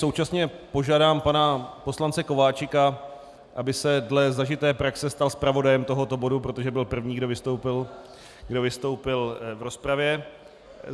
Současně požádám pana poslance Kováčika, aby se dle zažité praxe stal zpravodajem tohoto bodu, protože byl první, kdo vystoupil v rozpravě.